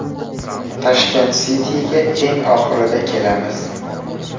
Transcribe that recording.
Tashkent City’ga eng oxirida kelamiz.